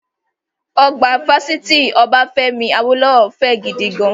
Ọgbà Fásitì Obafemi Awolowo fẹ́ gidigan